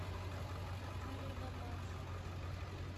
фаридабад